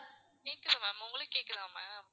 கேக்குது ma'am உங்களுக்கு கேக்குதா ma'am